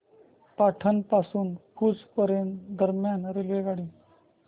पाटण पासून भुज दरम्यान रेल्वेगाडी